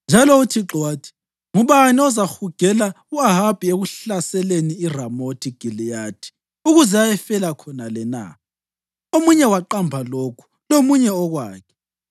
Njalo uThixo wathi, ‘Ngubani ozahugela u-Ahabi ekuhlaseleni iRamothi Giliyadi ukuze ayefela khonale na?’ Omunye waqamba lokhu, lomunye okwakhe.